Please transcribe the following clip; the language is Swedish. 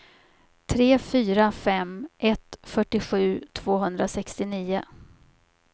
tre fyra fem ett fyrtiosju tvåhundrasextionio